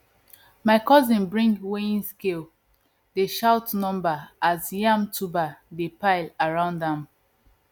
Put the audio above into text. my cousin bring weighing scale dey shout number as yam tuber dey pile round am